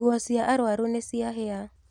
Nguo cia arwaru nĩciahĩa.